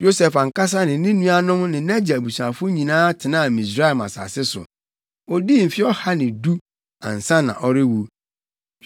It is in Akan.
Yosef ankasa ne ne nuanom ne nʼagya abusuafo nyinaa tenaa Misraim asase so. Odii mfe ɔha ne du ansa na ɔrewu.